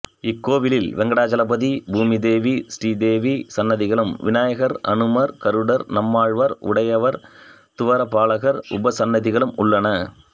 இக்கோயிலில் வெங்கடாசலபதி பூமிதேவி ஸ்ரீ தேவி சன்னதிகளும் விநாயகர் அனுமார் கருடர் நம்மாழ்வார் உடையவர் துவார பாலகர் உபசன்னதிகளும் உள்ளன